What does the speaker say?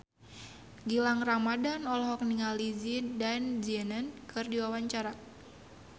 Gilang Ramadan olohok ningali Zidane Zidane keur diwawancara